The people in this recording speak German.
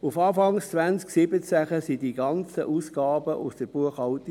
Auf Anfang 2017 verschwanden diese ganzen Ausgaben spurlos aus der Buchhaltung.